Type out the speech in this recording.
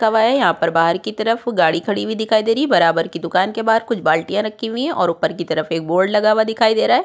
कब यहां पर बाहर की तरफ गाड़ी खड़ी हुई दिखाई दे रही है बरा-बरा की दुकान के बाहर कुछ बाल्टियाँ रखी हुई हैं और ऊपर की तरफ एक बोर्ड लगा हुआ दिखा दे रहा है।